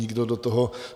Nikdo do toho...